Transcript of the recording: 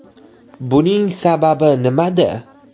Buning sababi nimada?